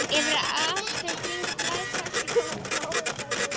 Yfir og allt um kring blæs saxófónninn af óumræðilegri blíðu.